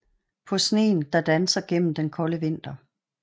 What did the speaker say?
På sneen der danser gennem den kolde vinter